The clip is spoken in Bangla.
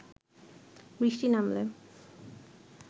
বৃষ্টি নামলে